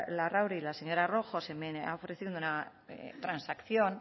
larrauri y la señora rojo se me ha ofrecido una transacción